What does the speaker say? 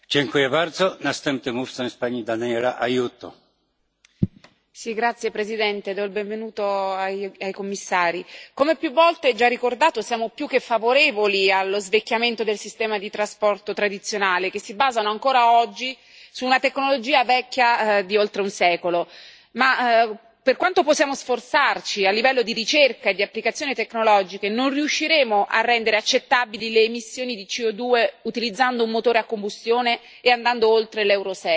Signor Presidente, onorevoli colleghi, do il benvenuto ai Commissari. Come più volte già ricordato, siamo più che favorevoli allo svecchiamento del sistema di trasporto tradizionale, che si basa ancora oggi su una tecnologia vecchia di oltre un secolo. Tuttavia, per quanto possiamo sforzarci a livello di ricerca e di applicazioni tecnologiche, non riusciremo a rendere accettabili le emissioni di CO2, utilizzando un motore a combustione e andando oltre l'Euro